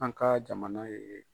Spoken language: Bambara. An ka jamana ye.